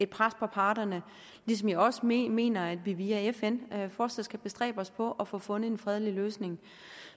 pres på parterne ligesom jeg også mener mener at vi via fn fortsat skal bestræbe os på at få fundet en fredelig løsning